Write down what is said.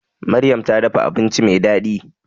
Maryam ta dafa abinci mai daɗi